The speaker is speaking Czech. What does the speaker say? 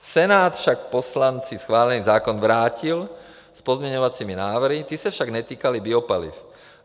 Senát však poslanci schválený zákon vrátil s pozměňovacími návrhy, ty se však netýkaly biopaliv.